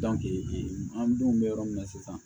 ee an denw bɛ yɔrɔ min na sisan